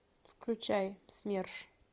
включай смерш